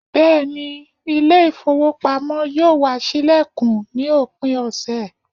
Beeni, ile ifowopamo yoo wa silekun ni opin ose